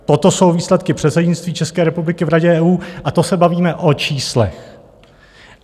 Toto jsou výsledky předsednictví České republiky v Radě EU, a to se bavíme o číslech.